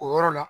O yɔrɔ la